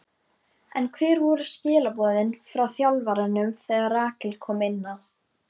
En hver voru skilaboðin frá þjálfaranum þegar Rakel kom inná?